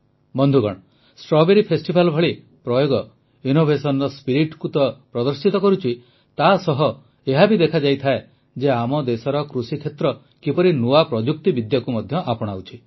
ବନ୍ଧୁଗଣ strawberry festival ଭଳି ପ୍ରୟୋଗ ନବୋନ୍ମେଷକୁ ତ ପ୍ରଦର୍ଶିତ କରୁଛି ତାସହ ଏହା ବି ଦର୍ଶାଉଛି ଯେ ଆମ ଦେଶର କୃଷିକ୍ଷେତ୍ର କିପରି ନୂଆ ପ୍ରଯୁକ୍ତିବିଦ୍ୟାକୁ ମଧ୍ୟ ଆପଣାଉଛି